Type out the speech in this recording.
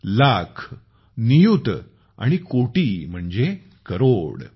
लाख नियुत आणि कोटि म्हणजे करोड़ ।